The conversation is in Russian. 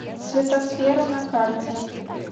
светосфера на карте